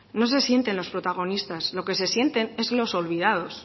no se sienten los protagonistas lo que se sienten es los olvidados